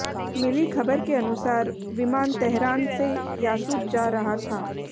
मिली खबर के अनुसार विमान तेहरान से यासूज जा रहा था